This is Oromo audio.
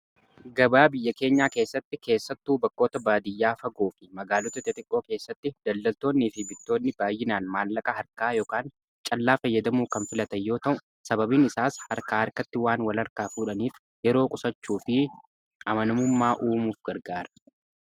gabaa biyya keenyaa keessatti keessattuu bakkoota baadiyyaa fagoo fi magaalota xixiqqoo keessatti daldaltoonnii fi bittoonni baay'inaan maallaqa harkaa ykn callaa fayyadamuu kan filatanyoo ta'u sababiin isaas harkaa harkatti waan wal harkaa fuudhaniif yeroo qusachuu fi amanamummaa uumuuf gargaara